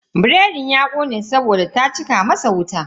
Biredin ya kone saboda ta cika masa wuta.